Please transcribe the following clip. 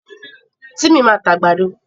Tímì máa ta àgbàdo.